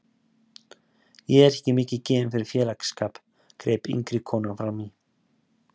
Ég er ekki mikið gefin fyrir félagsskap, greip yngri konan frammí.